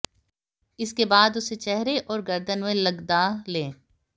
इसके बाद इसे चेहरे औऱ गर्दन में लगदा लें